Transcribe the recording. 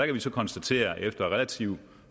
vi så konstatere at efter relativt